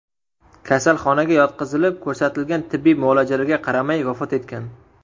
kasalxonaga yotqizilib, ko‘rsatilgan tibbiy muolajalarga qaramay vafot etgan.